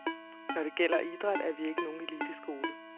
Når det gælder idræt, er vi ikke nogen eliteskole.